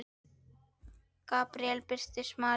Gabríel birtist Maríu